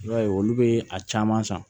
I b'a ye olu bɛ a caman san